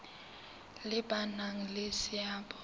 le ba nang le seabo